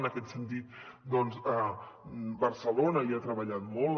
en aquest sentit doncs barcelona hi ha treballat molt